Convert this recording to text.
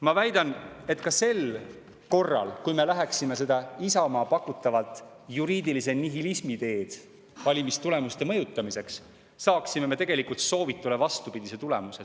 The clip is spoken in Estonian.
Ma väidan, et ka sel korral, kui me läheksime seda Isamaa pakutavat juriidilise nihilismi teed valimistulemuste mõjutamiseks, saaksime me tegelikult soovitule vastupidise tulemuse.